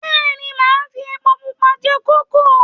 Bẹ́ẹ̀ ni, màá fi epo pupa jẹ kókò